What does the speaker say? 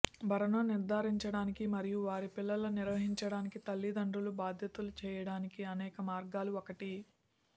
భరణం నిర్ధారించడానికి మరియు వారి పిల్లలు నిర్వహించడానికి తల్లిదండ్రులు బాధ్యతలు చేయడానికి అనేక మార్గాలు ఒకటి